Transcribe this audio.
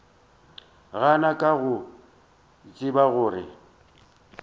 gana ka go tseba gore